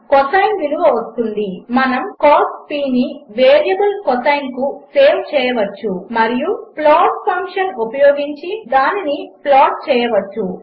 మనముcos నివేరియబుల్ కోసైన్ కుసేవ్చేయవచ్చుమరియుప్లాట్ఫంక్షన్ఉపయోగించిదానినిప్లాట్చేయవచ్చు